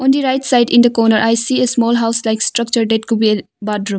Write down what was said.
On the right side in the corner I see a small house like structure that could be a bathroom.